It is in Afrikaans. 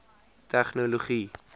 tegnologie